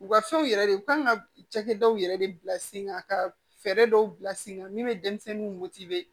U ka fɛnw yɛrɛ de u kan ka cakɛ dɔw yɛrɛ de bila sen kan ka fɛɛrɛ dɔw bila sen kan min bɛ denmisɛnninw motibɛ